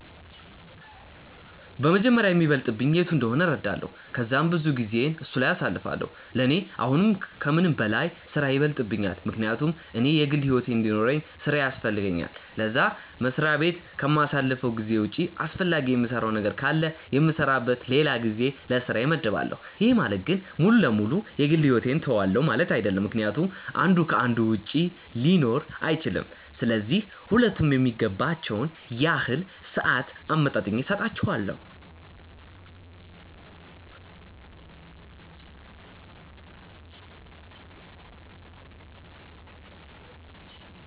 በመጀመሪያ የሚበልጥብኝ የቱ እንደሆነ እረዳለው ከዛም ብዙውን ጊዜየን እሱ ላይ አሳልፋለው፤ ለኔ አሁን ከምንም በላይ ስራዬ ይበልጥብኛል ምክንያቱም እኔ የግል ሕይወት እንዲኖርውኝ ስራዬ ያስፈልገኛል ለዛ፤ መስሪያ በት ከማሳልፈው ጊዜ ውጪ አስፈላጊ የምሰራው ነገር ካለ የምሰራበት ለላ ጊዜ ለስራዬ መድባለው፤ ይህ ማለት ግን ሙሉ ለ ሙሉ የ ግል ሕይወቴን ትውዋለው ማለት አይድለም ምክንያቱም አንዱ ከ አንዱ ውጪ ሊኖር አይችልም፤ ስለዚህ ሁለቱም የሚገባቸውን ያህል ሰአት አመጣጥኜ ሰጣቸዋለው።